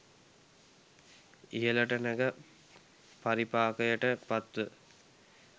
ඉහළට නැග පරිපාකයට පත්ව